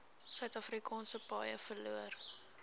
suidafrikaanse paaie verloor